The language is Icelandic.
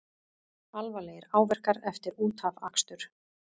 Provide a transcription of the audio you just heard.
Alvarlegir áverkar eftir útafakstur